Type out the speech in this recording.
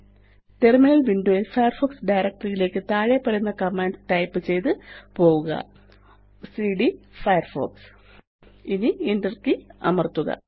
terminal window യില് Firefox directory യിലേയ്ക്ക് താഴെപ്പറയുന്ന കമാൻഡ് ടൈപ്പ് ചെയ്ത് പോവുക സിഡി ഫയർഫോക്സ് ഇനി Enter കെയ് അമര്ത്തുക